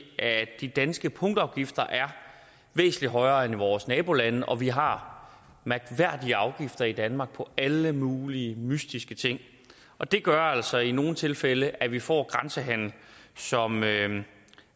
at de danske punktafgifter er væsentlig højere end i vores nabolande og vi har mærkværdige afgifter i danmark på alle mulige mystiske ting og det gør altså i nogle tilfælde at vi får grænsehandel som